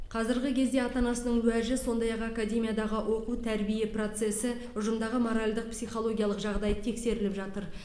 қазіргі кезде ата анасының уәжі сондай ақ академиядағы оқу тәрбие процесі ұжымдағы моральдық психологиялық жағдай тексеріліп жатыр